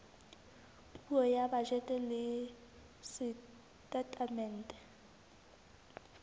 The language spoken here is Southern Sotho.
puo ya bajete le setatemente